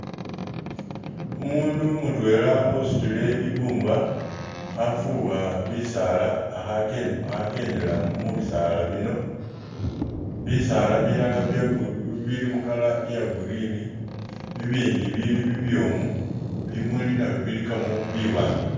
Umundu mutwela usutile i'bumba khafuwa bisaala akhakend akhakendela mu bisaala bino, bisaala bilala byagu.. bilimu color ya green bibindi bili bibyoomu, bimuli nabyo bilikamo biwaanga